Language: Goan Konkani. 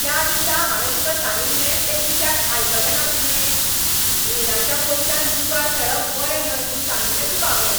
त्या दिसा हांवें तुका सांगिल्लें ते कित्याक आयकलें ना तुवें? रिणाच्या पयशांन जुगार खेळप बरें न्हय म्हूण सांगिल्लें तुकां हांवें.